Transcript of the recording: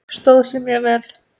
Stóð sig mjög vel.